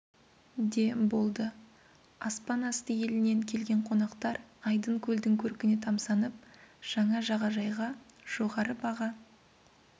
де болды аспан асты елінен келген қонақтар айдын көлдің көркіне тамсанып жаңа жағажайға жоғары баға